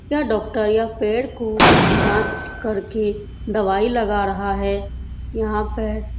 या डॉक्टर या पेर कू जाचं करके दवाई लगा रहा है। यहाँ पे --